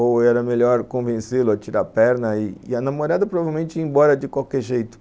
Ou era melhor convencê-lo a tirar a perna e a namorada provavelmente ir embora de qualquer jeito?